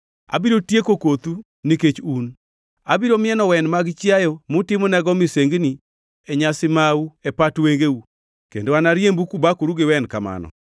“Abiro tieko kothu, nikech un; abiro mieno wen mag chiayo mutimonago misengni e nyasi mau e pat wengeu kendo anariembu kubakoru gi wen kamano.